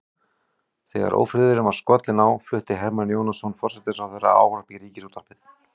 Þegar ófriðurinn var skollinn á flutti Hermann Jónasson forsætisráðherra ávarp í ríkisútvarpið.